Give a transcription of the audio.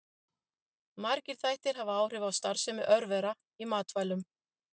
Margir þættir hafa áhrif á starfsemi örvera í matvælum.